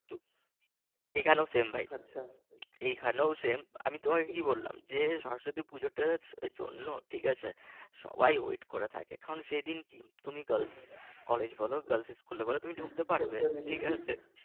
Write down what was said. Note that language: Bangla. এখানেও same ভাই এখানেও same আমি তোমাকে কী বললাম যে সরস্বতী পুজোতে একটু অন্য ঠিক আছে সবাই but করে থাকে কারণ সেদিন তুমি কলেজ বল girls স্কুল বল তুমি ঢুকতে পারবে ঠিক আছে